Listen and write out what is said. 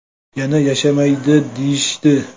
Yana yashamaydi deyishdi.